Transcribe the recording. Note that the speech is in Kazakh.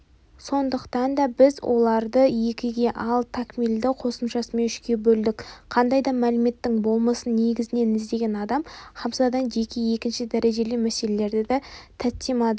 сондықтан да біз оларды екіге ал такмилді қосымшасымен үшке бөлдік қандай да мәліметтің болмысын негізінен іздеген адам хамсадан жеке екінші дәрежелі мәселелерді таттимадан